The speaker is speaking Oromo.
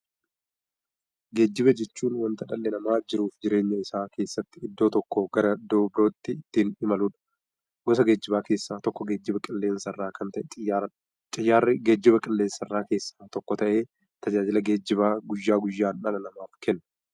Geejjiba jechuun wanta dhalli namaa jiruuf jireenya isaa keessatti iddoo tokkoo gara iddoo birootti ittiin imaludha. Gosa geejjibaa keessaa tokko geejjiba qilleensarraa kan ta'e Xiyyaaradha. Xiyyaarri geejjibaa qilleensarraa keessaa tokko ta'ee, tajaajila geejjibaa guyyaa guyyaan dhala namaaf kenna.